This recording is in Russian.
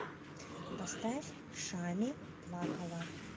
поставь шами плакала